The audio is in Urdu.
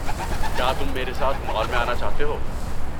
کیا تم میرے ساتھ مال میں آنا چاہتے ہو؟